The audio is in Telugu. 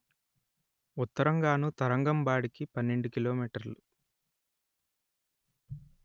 ఉత్తరంగానూ తరంగంబాడికి పన్నెండు కిలో మీటర్లు